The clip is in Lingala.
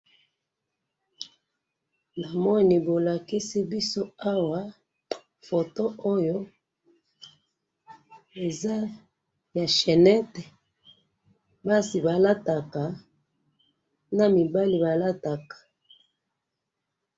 namoni bolakisi biso awa, photo oyo eza ya chainette, basi balataka, na mibali balataka